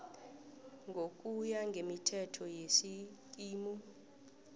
ngokuya ngemithetho yesikimu